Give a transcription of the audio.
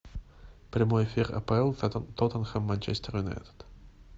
прямой эфир апл тоттенхэм манчестер юнайтед